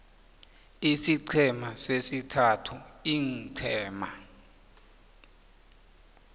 isiqhema sesithathu iinqhema